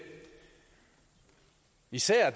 især